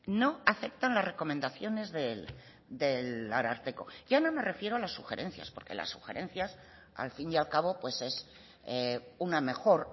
no aceptan las recomendaciones del ararteko ya no me refiero a las sugerencias porque las sugerencias al fin y al cabo pues es una mejor